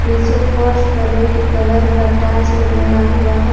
नीचे फर्श पर रेड कलर का टाइल्स भी लगा हुआ है।